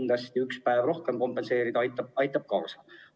Jah, ühe lisapäeva kompenseerimine aitab sellele kindlasti kaasa.